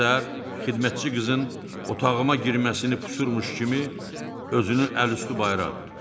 Səhər-səhər xidmətçi qızın otağıma girməsini pusurmuş kimi özünü əl-üstü bayıra atdı.